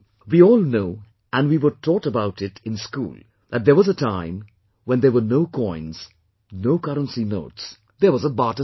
We all know and we were taught about it in school that there was a time when there were no coins, no currency notes; there was a barter system